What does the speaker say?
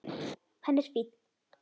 Hann er fínn.